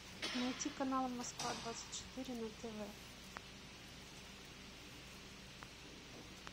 найти канал москва двадцать четыре на тв